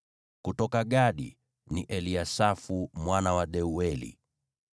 kutoka Gadi, ni Eliasafu mwana wa Deueli;